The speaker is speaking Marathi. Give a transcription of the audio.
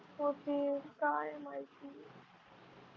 होतील काय माहिती